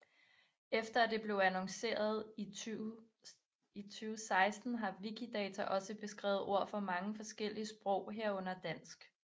Efter at det blev annonceret i 2016 har Wikidata også beskrevet ord for mange forskellige sprog herunder dansk